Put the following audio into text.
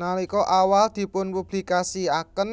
Nalika awal dipun publikasiaken